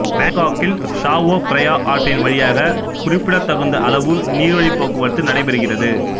பேங்காக்கில் Chao Phraya ஆற்றின் வழியாக குறிப்பிடத்தகுந்த அளவு நீர்வழிப் போக்குவரத்து நடைபெறுகிறது